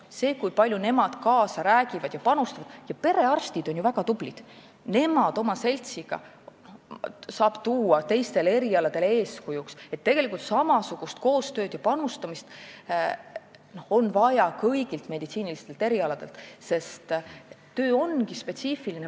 Selle kohta, kui palju nemad kaasa räägivad ja panustavad, võib öelda, et perearstid on ju väga tublid, neid ja nende seltsi saab tuua teistele erialadele eeskujuks, tegelikult on samasugust koostööd ja panustamist vaja kõigilt meditsiinierialadelt, sest see töö on spetsiifiline.